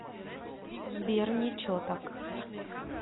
сбер ниче так